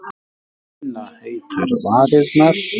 Finna heitar varirnar.